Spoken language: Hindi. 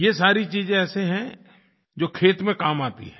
ये सारी चीज़ें ऐसे हैं जो खेत में काम आती हैं